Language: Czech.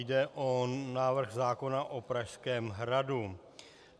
Jde o návrh zákona o Pražském hradu.